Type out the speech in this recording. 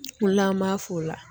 O la an b'a f'o la.